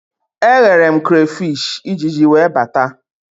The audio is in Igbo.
Eghere m krafish, Ijiji wee bata